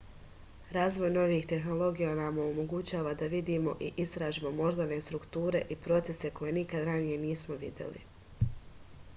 razvoj novih tehnologija nam omogućava da vidimo i istražimo moždane strukture i procese koje nikad ranije nismo videli